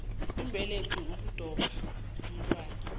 mbelethi ukuadoptha umntwana